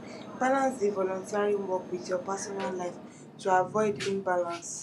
balance di volunteering work with your personal life to avoid imbalance